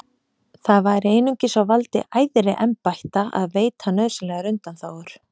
Það væri einungis á valdi æðri embætta að veita nauðsynlegar undanþágur.